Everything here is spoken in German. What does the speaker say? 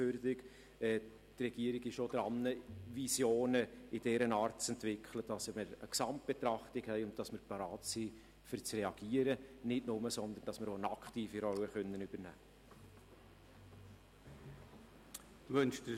Die Regierung ist auch daran, Visionen in dieser Art zu entwickeln, sodass wir eine Gesamtbetrachtung haben und wir nicht nur bereit sind zu reagieren, sondern auch eine aktive Rolle übernehmen können.